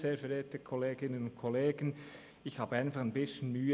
Ich habe mit dieser Situation ein bisschen Mühe.